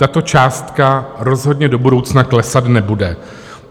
Tato částka rozhodně do budoucna klesat nebude.